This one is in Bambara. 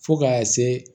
Fo ka se